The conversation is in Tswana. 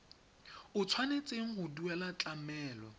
o tshwanetseng go duela tlamelo